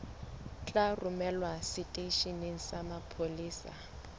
tla romelwa seteisheneng sa mapolesa